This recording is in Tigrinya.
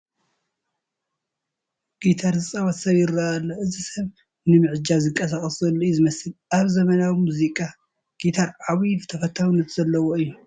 ጊታር ዝፃወት ሰብ ይርአ ኣሎ፡፡ እዚ ሰብ ንምዕጃብ ዝንቀሳቐስ ዘሎ እዩ ዝመስል፡፡ ኣብ ዘመናዊ ሙዚቃ ጊታር ዓብዪ ተፈታውነት ዘለዉ እዩ፡፡